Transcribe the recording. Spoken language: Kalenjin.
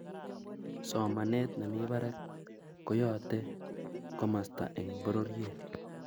somanet ne mi barak ko yoate komusta eng pororiet